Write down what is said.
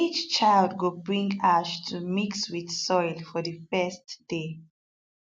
each child go bring ash to mix with soil for the first day